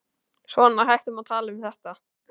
Svona, hættum að tala um þetta.